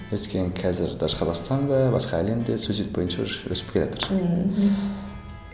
өйткені қазір даже қазақстанда басқа әлемде суицид бойынша уже өсіп келатыр ммм мхм